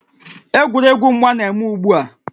Egwuregwu mgba na-eme ugbu a